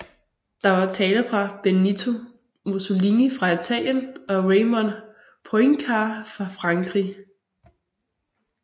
Der var taler fra Benito Mussolini fra Italien og Raymond Poincaré fra Frankrig